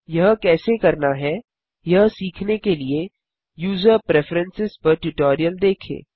यह कैसे करना है यह सीखने के लिए यूजर प्रेफरेंस पर ट्यूटोरियल देखें